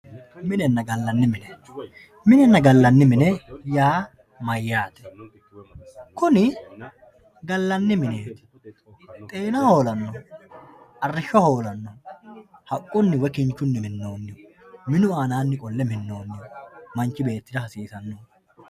Minenna gallanni mine minenna gallanni mine yaa mayyaate? Kuni gallani mineet Xeena hoolannoho Arrisho hoolanoho Haqqunni woy kinichun minooniho minu aanaanni qolle minooniho manichi beetta hasiisanno